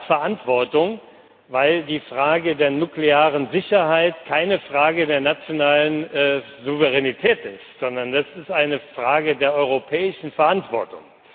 Europa hat Verantwortung, weil die Frage der nuklearen Sicherheit keine Frage der nationalen Souveränität ist, sondern eine Frage der europäischen Verantwortung.